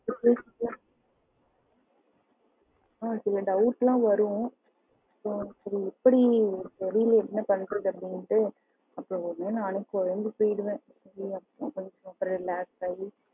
சில doubt எல்லாம் வரும் எப்படி என்ன பண்றதுன்னு தெரில அப்படின்னுட்டு